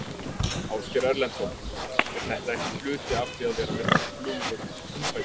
Ásgeir Erlendsson: Er þetta ekki hluti af því að vera með flugvöll í túnfætinum?